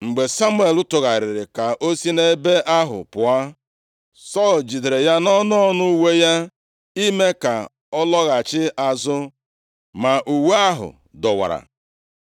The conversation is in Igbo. Mgbe Samuel tụgharịrị ka o si nʼebe ahụ pụọ, Sọl jidere ya nʼọnụ ọnụ uwe ya ime ka ọ lọghachi azụ, ma uwe ahụ dọwara.